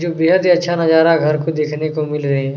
जो बेहद ही अच्छा नजारा घर को देखने को मिल रहे है।